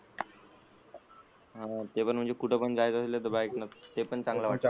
हा पण म्हणजे कुठं पण जाण्याचं असेल तर बाइक न तर ते चांगलं वाटत,